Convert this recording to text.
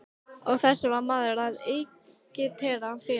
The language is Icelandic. Og þessu var maður að agitera fyrir!